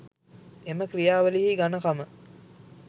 එම ක්‍රියාවලියෙහි ඝණකම